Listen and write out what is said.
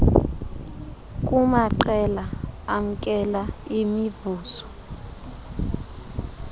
kumaqela amkela imivuzo